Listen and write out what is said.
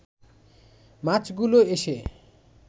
মাছগুলো এসে